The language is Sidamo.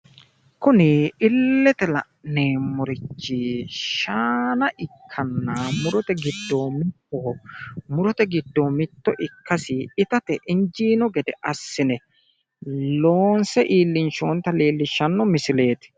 Kuni illete la'neemmorichi shaana ikkanna murote giddo mittoho, murote giddo mitto ikkasinni itate injiino gede assine loonse iillinshoonnita leellishshanno misileeti.